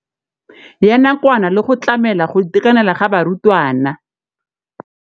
ya nakwana le go tlamela go itekanela ga barutwana.